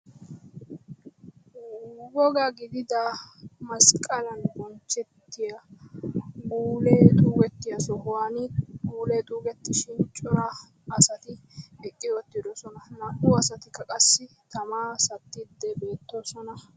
Woga gidida masqqala bonchchetiyaa guule xuugetiyo sohuwaan guule xuugetishin cora asati beetti wottidoosona; naa"u asatikka qassi tama satti wottidoosona.